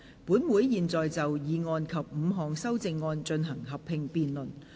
本會現在就議案及5項修正案進行合併辯論。